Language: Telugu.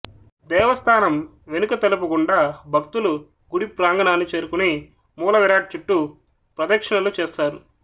దేవస్థానం వెనుక తలుపు గుండా భక్తులు గుడి ప్రాంగణాన్ని చేరుకుని మూలవిరాట్ చుట్టూ ప్రదిక్షిణలు చేస్తారు